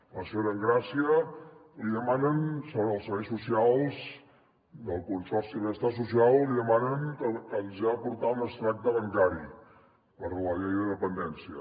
a la senyora engràcia li demanen els serveis socials del consorci de benestar social que els hi ha de portar un extracte bancari per la llei de dependència